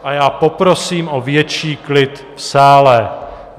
A já poprosím o větší klid v sále!